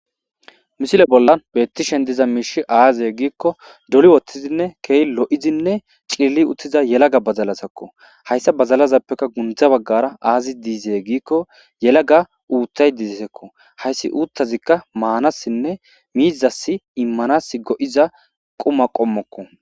misile bolla beettishen diza miishi aaze giikko doli woththizinne keeh lo7izinne cilli uttiza yelaga bazalazakko hayssa badalazappeka gundza baggara aazi diizee giikko yelaga uutthay disekko hayssi uuttazikka maanassinne miizassi immanas go7iza quma qommokko